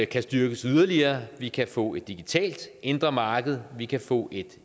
kan styrkes yderligere vi kan få et digitalt indre marked vi kan få et